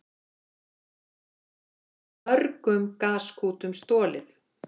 Mörgum gaskútum stolið